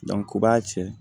Dɔnku o b'a cɛ